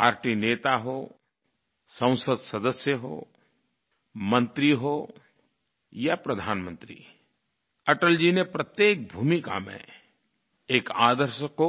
party नेता हो संसद सदस्य हो मंत्री हो या प्रधानमंत्री अटल जी ने प्रत्येक भूमिका में एक आदर्श को